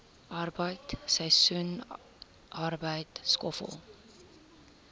arbeid seisoensarbeid skoffel